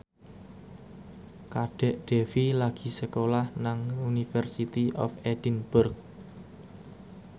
Kadek Devi lagi sekolah nang University of Edinburgh